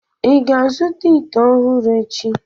ị ga-azụta ite ọhụrụ echi?